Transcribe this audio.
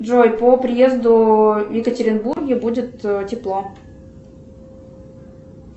джой по приезду в екатеринбурге будет тепло